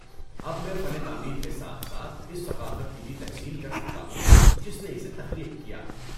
اب میں فن تعمیر کے ساتھ ساتھ اس ثقافت کی بھی تحسین کر سکتا ہوں جس نے اسے تخلیق کیا۔